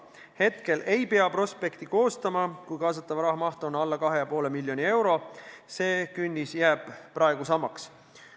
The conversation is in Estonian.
Praegu ei pea prospekti koostama, kui kaasatava raha maht on alla 2,5 miljoni euro, ja see künnis jääb praegu samaks.